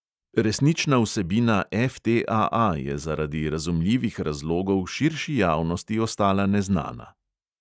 Resnična vsebina FTAA je zaradi razumljivih razlogov širši javnosti ostala neznana.